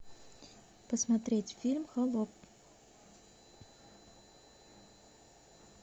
посмотреть фильм холоп